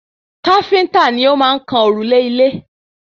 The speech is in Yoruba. Káfíntà ni o maá n kan òrùlé ilé